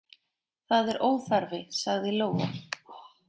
Það er óþarfi, sagði Lóa.